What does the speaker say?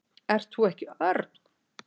Ert þú ekki Örn?